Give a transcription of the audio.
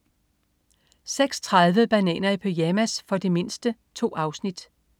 06.30 Bananer i pyjamas. For de mindste. 2 afsnit